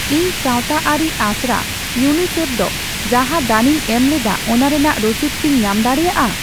ᱤᱧ ᱥᱟᱣᱛᱟ ᱟᱹᱨᱤ ᱟᱥᱲᱟ ᱤᱭᱩᱮᱱᱟᱭᱥᱤᱤᱮᱯᱷ ᱫᱚ ᱡᱟᱦᱟᱸ ᱫᱟᱱᱤᱧ ᱮᱢᱞᱮᱫᱟ ᱚᱱᱟ ᱨᱮᱱᱟᱜ ᱨᱚᱥᱤᱫ ᱠᱤᱧ ᱧᱟᱢ ᱫᱟᱲᱮᱭᱟᱜᱼᱟ?